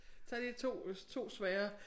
Tag lige 2 2 svære